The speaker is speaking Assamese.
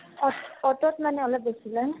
অতো, অতো ত মানে অলপ বেছি লয় ।